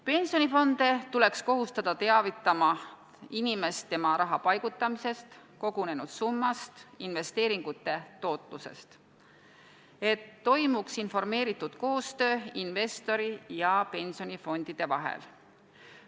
Pensionifonde tuleks kohustada teavitama inimest tema raha paigutamisest, kogunenud summast, investeeringute tootlusest, et toimuks informeeritud koostöö investori ja pensionifondide vahel.